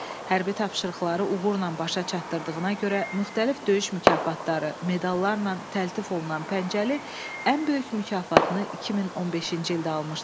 Hərbi tapşırıqları uğurla başa çatdırdığına görə müxtəlif döyüş mükafatları, medallarla təltif olunan Pəncəli ən böyük mükafatını 2015-ci ildə almışdı.